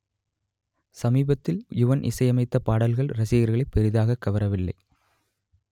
சமீபத்தில் யுவன் இசையமைத்த பாடல்கள் ரசிகர்களை பெரிதாக கவரவில்லை